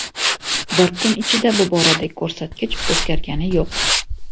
Bir kun ichida bu boradagi ko‘rsatkich o‘zgargani yo‘q.